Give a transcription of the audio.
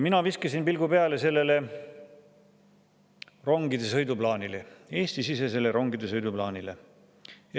Ma viskasin pilgu peale rongide sõiduplaanile, Eesti-sisesele rongide sõiduplaanile.